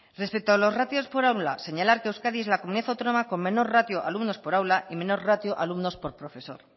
respecto a los ratios por aula señalar que euskadi es la comunidad autónoma con menor ratio alumnos por aula y menor ratio alumnos por profesor